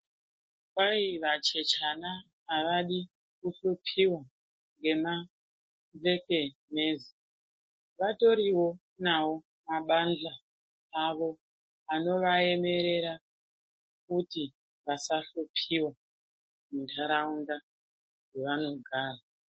Kwai vachechana avadi kuhlupiwa ngema njekenezi vatoriwo nawo mabanhta avo anovaemerera kuti vasahlupiwa muntaraunda yevanogara.